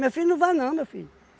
Meu filho não vai não, meu filho.